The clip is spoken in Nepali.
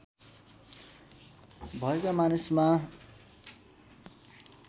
भएका मानिसमा